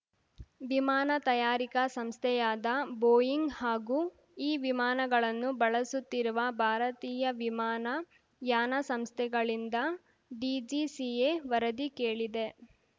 ವಿಮಾನ ತಯಾರಿಕಾ ಸಂಸ್ಥೆಯಾದ ಬೋಯಿಂಗ್ ಹಾಗೂ ಈ ವಿಮಾನಗಳನ್ನು ಬಳಸುತ್ತಿರುವ ಭಾರತೀಯ ವಿಮಾನ ಯಾನ ಸಂಸ್ಥೆಗಳಿಂದ ಡಿಜಿಸಿಎ ವರದಿ ಕೇಳಿದೆ